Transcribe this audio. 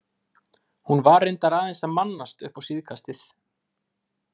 Hún var reyndar aðeins að mannast upp á síðkastið.